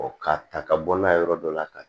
k'a ta ka bɔ n'a ye yɔrɔ dɔ la ka